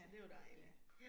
Ja, ja